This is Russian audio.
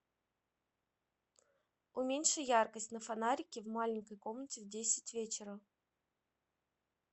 уменьши яркость на фонарике в маленькой комнате в десять вечера